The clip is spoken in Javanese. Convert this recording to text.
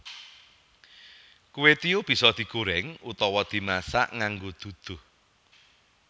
Kwetiau bisa digoreng utawa dimasak nganggo duduh